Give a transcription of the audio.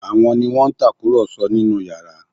Àwọn ni wọ́n ń tàkùrọ̀sọ nínú yàrá?